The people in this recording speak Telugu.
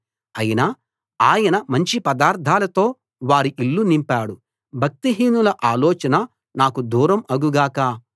అయినా ఆయన మంచి పదార్థాలతో వారి ఇళ్ళు నింపాడు భక్తిహీనుల ఆలోచన నాకు దూరం అగు గాక